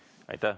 Aitäh!